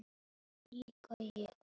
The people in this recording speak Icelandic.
Fallega fína Lína, amma tjútt.